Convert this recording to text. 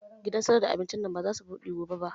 Gidan sayar da abincin nan ba zasu buɗe gobe ba